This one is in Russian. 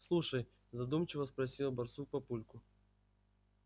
слушай задумчиво спросил барсук папульку